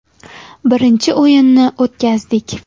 Birinchi o‘yinni o‘tkazdik.